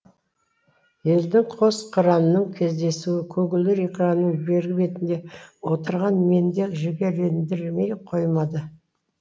елдің қос қыранының кездесуі көгілдір экранның бергі бетінде отырған мені де жігерлендірмей қоймады